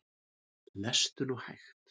Lestu nú hægt!